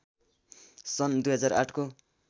सन् २००८ को